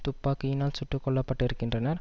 துப்பாக்கியினால் சுட்டு கொல்லப்பட்டிருக்கின்றனர்